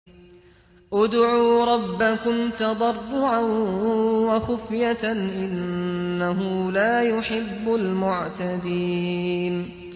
ادْعُوا رَبَّكُمْ تَضَرُّعًا وَخُفْيَةً ۚ إِنَّهُ لَا يُحِبُّ الْمُعْتَدِينَ